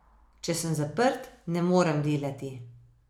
Če sem zaprt, ne morem delati.